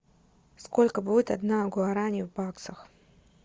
сколько будет одна гуарани в баксах